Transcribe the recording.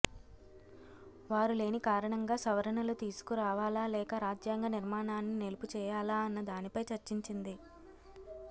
వారు లేని కారణంగా సవరణలు తీసుకురావాలా లేక రాజ్యాంగ నిర్మాణాన్ని నిలుపుచేయాలా అన్న దానిపై చర్చించింది